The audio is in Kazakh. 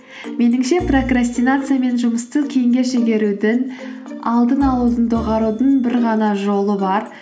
меніңше прокрастинация мен жұмысты кейінге шегерудің алдын алудың доғарудың бір ғана жолы бар